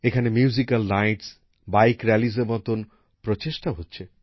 এখানে musical night bike র্যালির মতন উদ্যোগ নেওয়া হচ্ছে